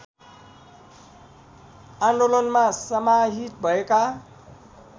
आन्दोलनमा समाहित भएका